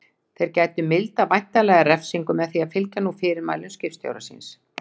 Þeir gætu mildað væntanlega refsingu með því að fylgja nú fyrirmælum skipstjóra síns.